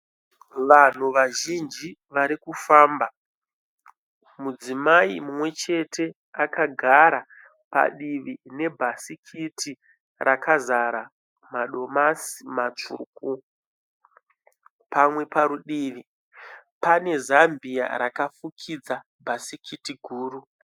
Vanhu vazhinji vari kufamba. Mudzimai mumwe chete akagara padivi nebhasikiti rakazara madomasi matsvuku. Pamwe parutivi pane zambia rakafukidza bhasikiti guru.